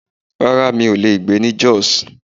Rárá, mi ò lè gbé ní jos.